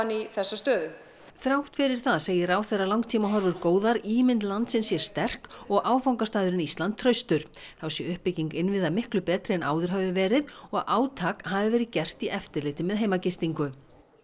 í þessa stöðu þrátt fyrir það segir ráðherra langtímahorfur góðar ímynd landsins sé sterk og áfangastaðurinn Ísland traustur þá sé uppbygging innviða miklu betri en áður hafi verið og átak hafi verið gert í eftirliti með heimagistingu